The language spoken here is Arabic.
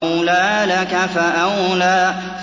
أَوْلَىٰ لَكَ فَأَوْلَىٰ